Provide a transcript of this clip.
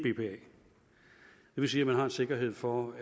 vil sige man har en sikkerhed for